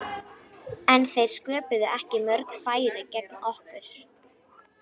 En þeir sköpuðu ekki mörg færi gegn okkur.